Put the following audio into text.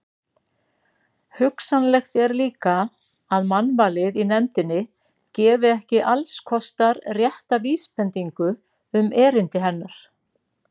Hugsanlegt er líka, að mannvalið í nefndinni gefi ekki allskostar rétta vísbendingu um erindi hennar.